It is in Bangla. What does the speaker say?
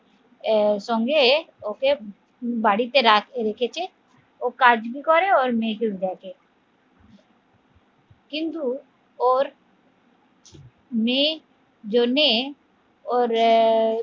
আহ সঙ্গে ওকে বাড়িতে রাখ রেখেছে ও কাজ ভি করে ওর মেয়েকেও দেখে কিন্তু ওর মেয়ে জন্যে ওর আহ